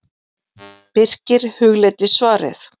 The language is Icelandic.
Birkir hugleiddi svarið.